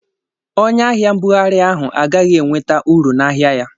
Onye ahia mbughari ahụ agaghị enweta uru n'ahia ya.